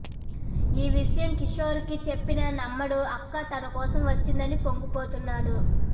ఈ విషయం కిషోర్ కి చెప్పినా నమ్మడు అక్క తనకోసం వచ్చిందని పొంగిపోతున్నాడు